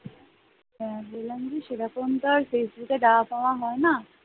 হ্যাঁ বললাম কি সেই রকম তো আর ফেসবুকে দেওয়া টেওয়া হয় না ।